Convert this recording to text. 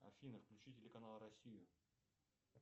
афина включи телеканал россию